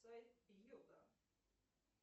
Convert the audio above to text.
сайт йота